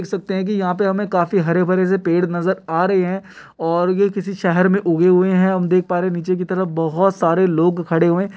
देख सकते है कि यहां पे हमे काफी हरे-भरे से पेड़ नजर आ रहे है और ये किसी शहर मे उगे हुए है हम देख पा रहे नीचे की तरफ बहुत सारे लोग खड़े हुए --